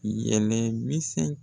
Yɛlɛ misɛn